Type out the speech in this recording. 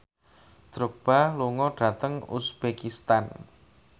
Drogba lunga dhateng uzbekistan